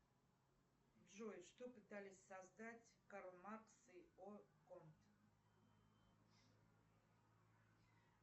джой что пытались создать карл маркс и о конт